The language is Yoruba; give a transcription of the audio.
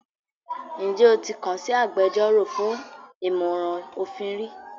Ǹjẹ́ o ti kàn sí agbẹjọ́rò fún ìmọ̀ràn òfin rí?